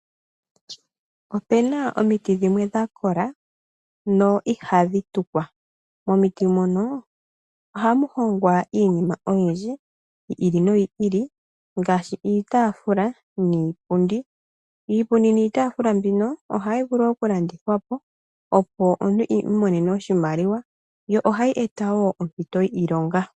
Opuna omiti dhimwe dhakola , ndhono ihadhi tulwa. Momiti mono ohamu hongwa iinima oyindji, yiili noyiili ngaashi iitaafula niipundi . Ohayi vulu okulandithwa po opo omuntu iimonene oshimaliwa, yo ohayi eta oompito dhiilonga.